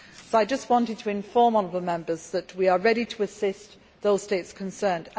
I just wanted to inform honourable Members that we are ready to assist those states concerned.